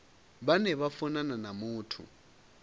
vhane vha funana na muthu